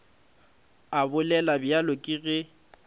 a bolela bjalo ke ge